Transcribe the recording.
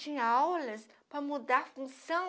Tinha aulas para mudar a função.